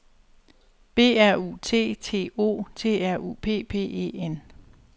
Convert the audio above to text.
B R U T T O T R U P P E N